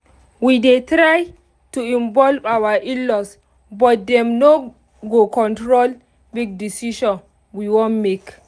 we dey try to involve our in-laws but dem no go control big decision we wan make